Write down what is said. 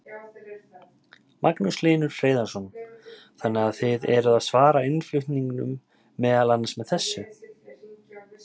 Magnús Hlynur Hreiðarsson: Þannig að þið eruð að svara innflutningnum meðal annars með þessu?